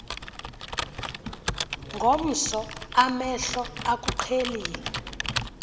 ngomso amehlo akuqhelile